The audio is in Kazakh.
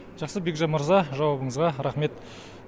жақсы бекжан мырза жауабыңызға рақмет